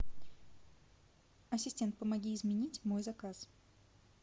ассистент помоги изменить мой заказ